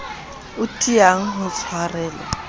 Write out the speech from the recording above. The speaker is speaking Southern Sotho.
o tiang ho tshwarelwa ho